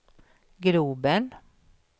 globen